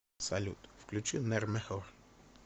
салют включи нэр мэхор